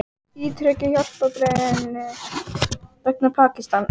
Ítreka hjálparbeiðni vegna Pakistan